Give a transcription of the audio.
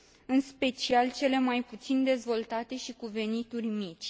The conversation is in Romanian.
în special cele mai puțin dezvoltate și cu venituri mici.